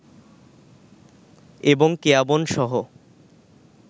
এবং কেয়াবনসহ